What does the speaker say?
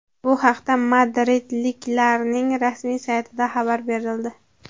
Bu haqda madridliklarning rasmiy saytida xabar berildi .